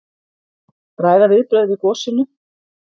Ræða viðbrögð við gosinu